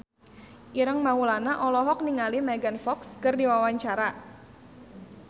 Ireng Maulana olohok ningali Megan Fox keur diwawancara